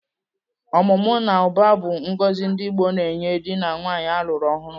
Ọmụmụ na ụba bụ ngọzi ndị Igbo na-enye dị na nwaanyị a lụr ọhụrụ.